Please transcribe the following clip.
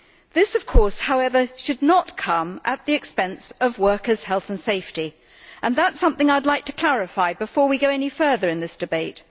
This, of course, should not come at the expense of workers' health and safety and that is something I would like to clarify before we go any further in this debate.